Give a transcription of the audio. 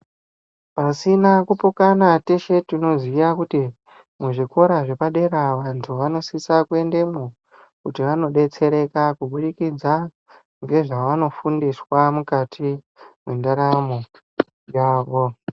Pasina kupokana teshe tinoziya kuti muzvikora zvapadera vantu anosisa kuendemwo kuti vanoodetsereka kubudikidza ngezvanofundiswa mukati mwendaramo yavo.